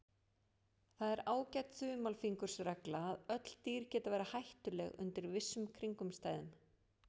Það er ágæt þumalfingursregla að öll dýr geta verið hættuleg undir vissum kringumstæðum.